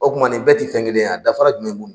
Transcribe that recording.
O kuma nin bɛɛ tɛ fɛn kelen ya dafara jumɛn b'u